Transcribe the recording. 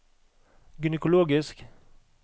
gynekologisk